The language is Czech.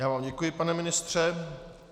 Já vám děkuji, pane ministře.